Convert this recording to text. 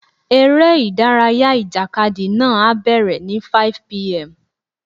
Eré ìdárayá ìjàkadì náà á bẹ̀rẹ̀ ní 5:00pm.